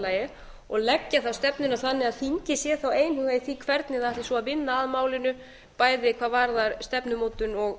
lagi og leggja þá stefnuna þannig að þingið sé þá einhuga í því hvernig ætti svo að vinna að málinu bæði hvað varðar stefnumótun og